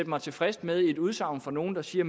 mig tilfreds med et udsagn fra nogle der siger